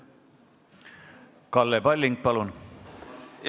Kalle Palling, palun!